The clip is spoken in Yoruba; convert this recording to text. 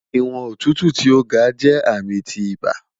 Iwọn otutu ti o ga jẹ ami ti iba